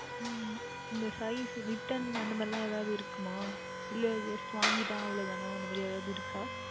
உம் எந்த Size Return அந்த மாதிரி எல்லாம் எதாவுது இருக்குமா இல்லை Just வாங்கிவிட்டால் அவ்வளவுதானா அந்த மாதிரி எதாவுது இருக்கின்றதா